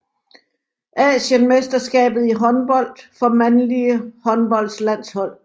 Asienmesterskab i håndbold for mandlige håndboldlandshold